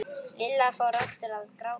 Lilla fór aftur að gráta.